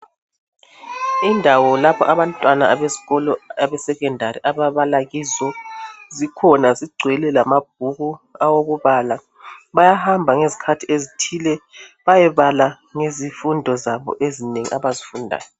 Indawo lapha abantwana besikolo abeSekhondari ababala kizo zikhona zigcwele lamabhuku awokubala. Bayahamba ngezikhathi ezithile bayebala ngezifundo zabo ezinengi abazifundayo.